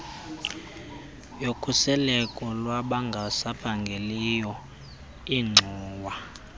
yokhuseleko lwabangasaphangeliyo ingxowa